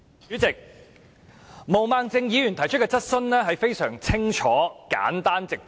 主席，毛孟靜議員提出的質詢非常清楚、簡單和直接。